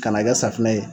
Ka na kɛ safunɛ ye